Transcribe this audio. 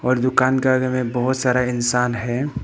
और दुकान का आगे में बहुत सारा इंसान है।